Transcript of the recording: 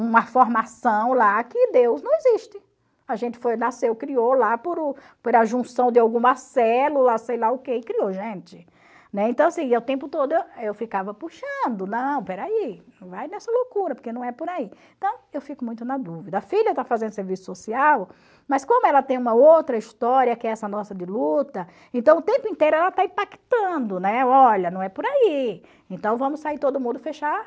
uma formação lá que Deus não existe, a gente foi, nasceu, criou lá por por a junção de alguma célula, sei lá o que, e criou gente, né, então assim, o tempo todo eu ficava puxando, não, peraí, não vai nessa loucura, porque não é por aí, então eu fico muito na dúvida, a filha está fazendo serviço social, mas como ela tem uma outra história que é essa nossa de luta, então o tempo inteiro ela está impactando, né, olha, não é por aí, então vamos sair todo mundo fechar